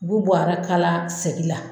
U b'u bɔ a yɛrɛ kala segin la